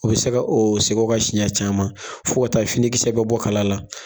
O bi se ka o segin o kan siɲɛ caman fo ka taa finikisɛ bɛ bɔ kala la.